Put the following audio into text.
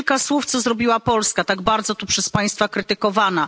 I kilka słów, co zrobiła Polska, tak bardzo tu przez państwa krytykowana.